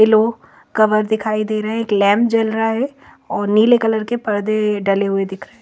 yellow cover दिखाई दे रहे है एक लैंप जल रहा है और नीले कलर के परदे डले हुए दिखाई--